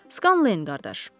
Scanlein qardaş.